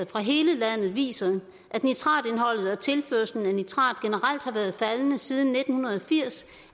fra hele landet viser at nitratindholdet og tilførslen af nitrat generelt har været faldende siden nitten firs